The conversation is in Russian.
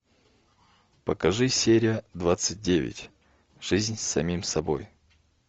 покажи серия двадцать девять жизнь с самим собой